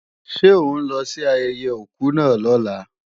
Ṣé ó ń lọ sí ayẹyẹ òkú náà lọ́la?